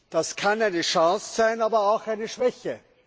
Das kann eine Chance sein, aber auch eine Schwäche.